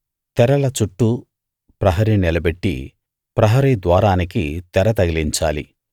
తెరల చుట్టూ ప్రహరీ నిలబెట్టి ప్రహరీ ద్వారానికి తెర తగిలించాలి